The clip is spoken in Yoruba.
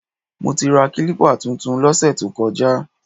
Mo ti ra kílípà tuntun lọ́sẹ̀ tó kọjá